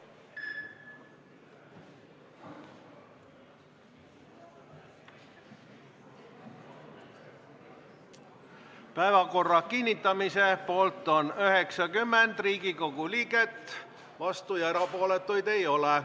Hääletustulemused Päevakorra kinnitamise poolt on 90 Riigikogu liiget, vastuolijaid ja erapooletuid ei ole.